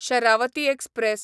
Sharavati express